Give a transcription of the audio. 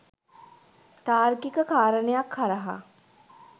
තාර්කික කාරණයක් හරහා